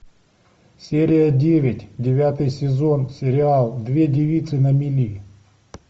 серия девять девятый сезон сериал две девицы на мели